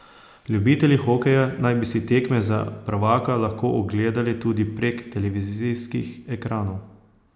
Ljubitelji hokeja naj bi si tekme za prvaka lahko ogledali tudi prek televizijskih ekranov.